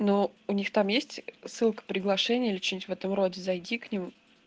ну у них там есть ссылка приглашение или что-нибудь в этом роде зайди к ним